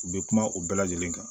U bɛ kuma u bɛɛ lajɛlen kan